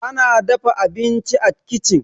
ana dafa abinci a kicin